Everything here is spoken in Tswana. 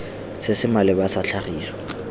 se se maleba sa tlhagiso